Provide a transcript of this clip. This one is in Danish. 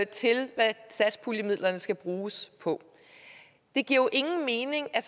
til hvad satspuljemidlerne skal bruges på det giver jo ingen mening at